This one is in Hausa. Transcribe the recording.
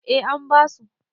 eh an basu